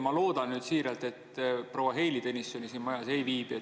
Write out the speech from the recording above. Ma loodan siiralt, et proua Heili Tõnisson siin majas ei viibi.